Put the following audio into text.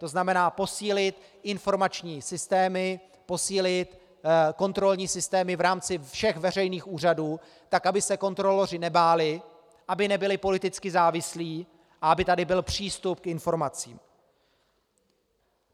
To znamená posílit informační systémy, posílit kontrolní systémy v rámci všech veřejných úřadů, tak aby se kontroloři nebáli, aby nebyli politicky závislí a aby tady byl přístup k informacím.